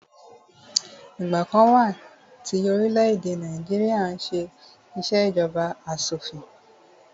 Ìgbà kan wà tí orílẹ̀-èdè Nàìjíríà n ṣé ìṣèjọba asọ̀fin